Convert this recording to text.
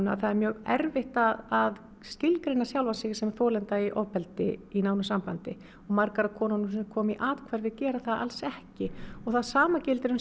að það er erfitt að skilgreina sjálfa sig sem þolanda í ofbeldi í nánu sambandi margar af konunum sem koma í athvarfið gera það ekki og það sama gildir um